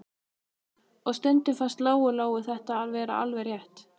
Og stundum fannst Lóu-Lóu þetta vera alveg rétt.